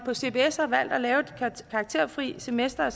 på cbs har valgt at lave et karakterfrit semester og